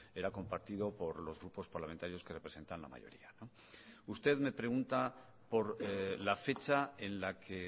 era compartido por los grupos parlamentarios que representan la mayoría usted me pregunta por la fecha en la que